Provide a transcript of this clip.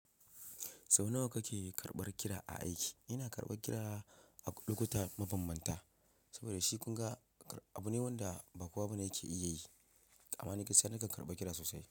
Sau nawa kake karɓar kira a aiki? Ina karɓar kira a lokuta mabambanta saboda shi kun ga abu ne wanda ba kowa ba ne yake iya yi. Amma ni kasan nakan karɓa kira sosai.